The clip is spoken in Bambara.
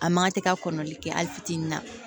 A man kan tɛ ka kɔrɔli kɛ hali fitinin na